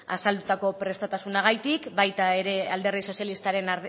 azaldutako prestutasunagatik baita ere alderdi sozialistaren